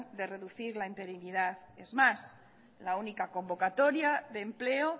de reducir la interinidad es más la única convocatoria de empleo